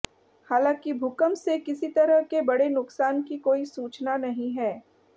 हालांकि भूकंप से किसी तरह के बड़े नुकसान की कोई सूचना नहीं है